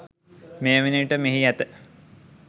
මේ වන විට මෙහි ඇත